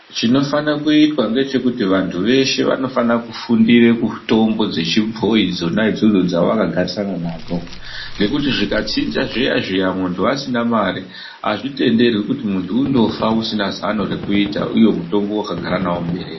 Chinofane kuitwa ngechekuti vantu veshe vanofanire kufundira mitombo dzechibhoi dzona idzodzo dzavakagarisana nadzo. Ngekuti zvikatsinza zviya-zviya muntu asina mari hazvitenderwi kuti muntu undofa usina zano rekutita uye mutombo vakagara navo muberere.